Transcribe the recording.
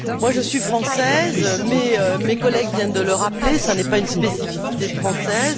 Je suis Française mais, mes collègues viennent de le rappeler, ce n'est pas une spécificité française.